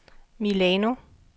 Milano